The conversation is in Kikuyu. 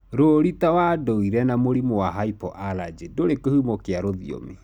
Rũũri ta wa nduire na mũrimũ wa hypoallergy ndũrĩ kĩhumo kĩa rũthiomi.